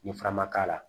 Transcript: Ni fara ma k'a la